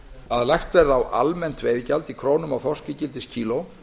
að lagt verði á almennt veiðigjald í krónum á þorskígildiskíló